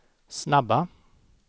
snabba